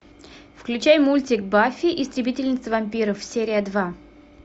включай мультик баффи истребительница вампиров серия два